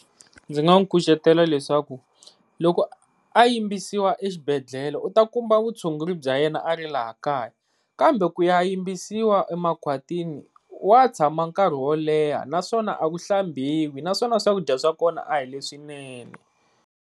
Ndzi nga nkucetela leswaku loko a yimbisiwa exibhedlele u ta kuma vutshunguri bya yena a ri laha kaya, kambe ku ya yimbisiwa emakhwatwini wa tshama nkarhi wo leha naswona a ku hlambiwi naswona swakudya swa kona a hi leswinene.